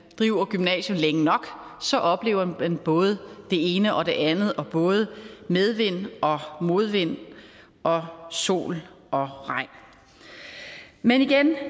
driver gymnasier længe nok så oplever man både det ene og det andet og både medvind og modvind og sol og regn men igen er